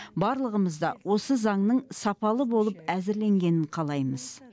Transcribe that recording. барлығымыз да осы заңның сапалы болып әзірленгенін қалаймыз